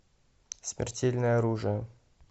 смертельное оружие